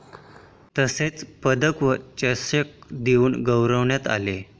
तसेच पदक व चषक देवून गौवरण्यात आले.